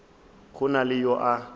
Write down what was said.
go na le yo a